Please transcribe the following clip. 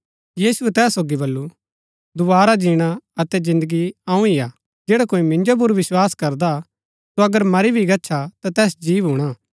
यीशुऐ तैहा सोगी बल्लू दोवारा जीणा अतै जिन्दगी अऊँ ही हा जैडा कोई मिन्जो पुर विस्वास करदा सो अगर मरी भी गच्छा ता तैस जी भूणा